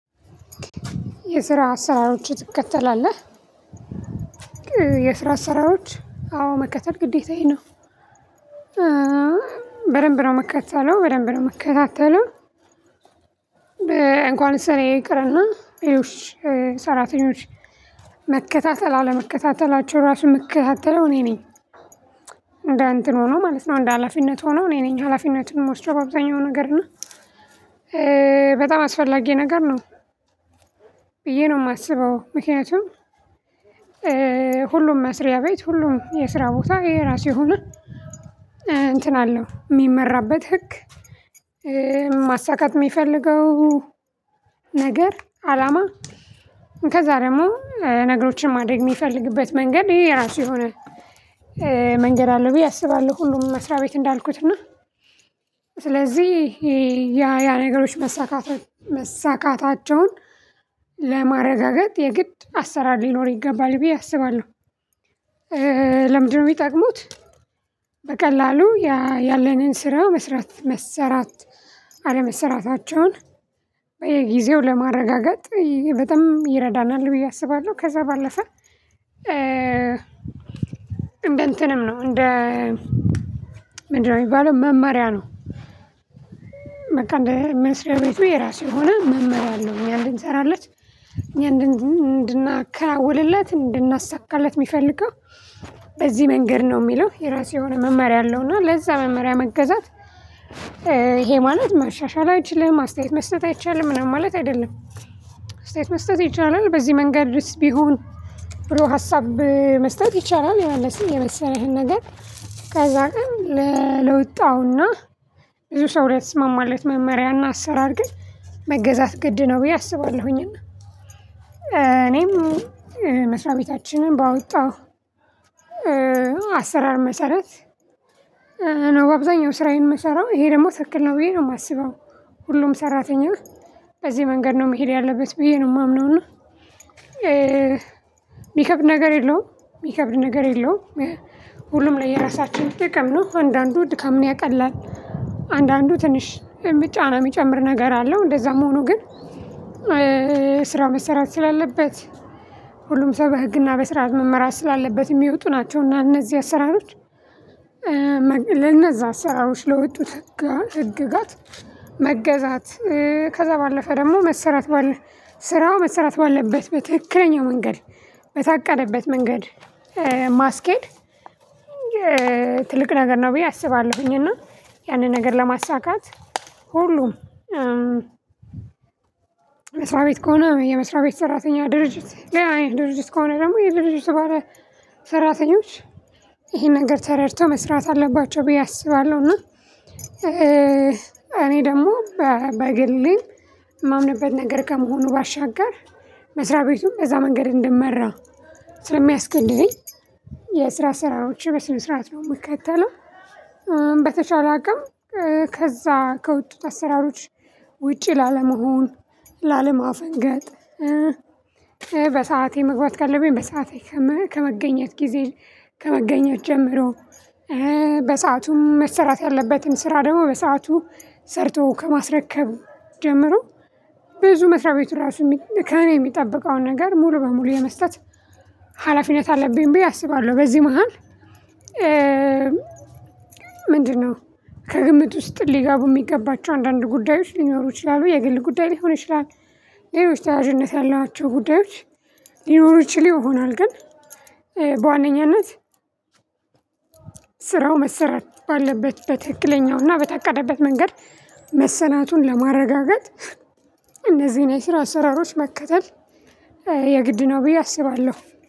የስራ አሰራሮች ትከተላለህ? የስራ አሰራሮች አዎ መከተል ግዴታዬ ነው። በደንብ ነው የምከተለው በደንብ ነው የምከታተለው። እንኳንስ እኔ ይቅርና ሰራተኞች መከታተል አለመከታተላቸው ራሱ ምከታተለው እኔ ነኝ። እንደ እንትን ሆኖ ማለት ነው እንደ ሀላፊነት ሆኖ እኔ ነኝ ሀላፊነቱን ምወስደው በአብዛኛው ነገር እና በጣም አስፈላጊ ነገር ነው። ብዬ ነው የማስበው ምክንያቱም። ሁሉም መስሪያ ቤት ሁሉም የስራ ቦታ ይሄ የራሱ የሆነ እንትን አለው የሚመራበት ህግ። ማሳካት የሚፈልገው ነገር አላማ ከዛ ደግሞ ነገሮችን ማድረግ የሚፈልግበት መንገድ ይሄ የራሱ የሆነ መንገድ አለው ብዬ አስባለሁ። ሁሉም መስሪያ ቤት እንዳልኩት እና ስለዚህ ያ ያ ነገሮች መሳካት መሳካታቸውን ለማረጋገጥ የግድ አሰራር ሊኖር ይገባል ብዬ አስባለሁ። ለምንድነው የሚጠቅሙት? በቀላሉ ያለንን ስራ መስራት መሰራት አለመሰራታቸውን በየ ጊዜው ለማረጋገጥ በጣም ይረዳናል ብዬ አስባለሁ። ከዛ ባለፈ እንደ እንትንም ነው እንደ ምንድነው የሚባለው መማሪያ ነው። በቃ እንደ መስሪያ ቤቱ የራሱ የሆነ መመሪያ አለው እኛ እንድንሰራለት እኛ እንድናከናውንለት እንድናሳካለት የሚፈልገው በዚህ መንገድ ነው የሚለው የራሱ የሆነ መመሪያ አለው እና ለዛ መመሪያ መገዛት። ይሄ ማለት ማሻሻል አይችልህም አስተያየት መስጠት አይቻልም ምናምን ማለት አይደለም። አስተያየት መስጠት ይቻላል በዚህ መንገድስ ቢሆን ብሎ ሀሳብ መስጠት ይቻላል የመለሠ የመሰለህን ነገር ከዛ ግን ለወጣውና ብዙ ሰው ላይ ተስማማለት መመሪያና አሰራር ግን መገዛት ግድ ነው ብዬ አስባለሁኝና። እኔም መስሪያ ቤታችንን ባወጣሁ አሰራር መሰረት ነው አብዛኛው ስራዬን የምሰራው ይሄ ደግሞ ትክክል ነው ብዬ ነው የማስበው። ሁሉም ሰራተኛ በዚህ መንገድ ነው መሄድ ያለበት ብዬ ነው የማምነው እና። ሚከብድ ነገር የለውም የሚከብድ ነገር የለውም። ሁሉም ለየራሳችን ጥቅም ነው አንዳንዱ ድካምን ያቀላል አንዳንዱ ትንሽ የሚጫ ጫና የሚጨምር ነገር አለው እንደዛም ሆኖ ግን። ስራ መሰራት ስላለበት ሁሉም ሰው በህግና በስአራት መመራት ስላለበት የሚወጡ ናቸው እና እነዚህ አሰራሮች። ለነዛ ስራዎች ለወጡት ህግጋት መገዛት ከዛ ባለፈ ደግሞ መሰራት ባለ ስራው መሰራት ባለበት በትክክለኛው መንገድ በታቀደበት መንገድ ማስኬድ። ትልቅ ነገር ነው ብዬ አስባለሁኝ። እና ያንን ነገር ለማሳካት ሁሉም መስሪያ ቤት ከሆነ የመስሪያ ቤት ሰራተኛ ድርጅት ሌላ አይነት ድርጅት ከሆነ ደግሞ የድርጅት ባለ ሰራተኞች ይሄን ነገር ተረድቶ መስራት አለባቸው ብዬ አስባለሁ። እና እኔ ደግሞ በግሌ የማምንበት ነገር ከመሆኑ ባሻገር መስሪያ ቤቱን እንደዛ መንገድ እንድመራ ስለሚያስገድደኝ የስራ አሰራሮቼ በስነ ስርዓት ነው የምትከተለው። በተቻለ አቅም ከዛ ከወጡት አሰራሮች ውጪ ላለመሆን ላለማፈንገጥ። በሰአቴ መግባት ካለብኝ በሰአቴ ከመገኘት ጊዜ ከመገኘት ጀምሮ በሰአቱም መሰራት ያለበትም ስራ ደግሞ በሰአቱ ሰርቶ ከማስረከብ ጀምሮ ብዙ መስሪያ ቤቱ ራሱ ከእኔ የሚጠብቀውን ነገር ሙሉ በሙሉ የመስጠት ሀላፊነት አለብኝ ብዬ አስባለሁ። በዚህ መሃል ምንድነው? ከግምት ውስጥ ሊገቡ የሚገባቸው አንዳንድ ጉዳዮች ሊኖሩ ይችላሉ የግል ጉዳይ ሊሆን ይችላል። ሌሎች ተያያዥነት ያሏቸው ጉዳዮች ሊኖሩ ይችላሉ ይሆናል ግን። በዋነኛነት ስራው መሰራት ባለበት በትክክለኛውና እና በታቀደለት መንገድ መሰራቱን ለማረጋገጥ እነዚህን የስራ አሰራሮች መከተል የግድ ነው ብዬ አስባለሁ።